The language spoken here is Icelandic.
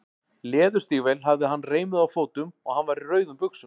Leðurstígvél hafði hann reimuð á fótum og hann var í rauðum buxum.